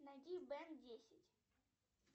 найди бен десять